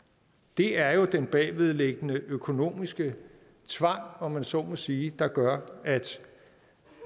det er jo den bagvedliggende økonomiske tvang om man så må sige der gør at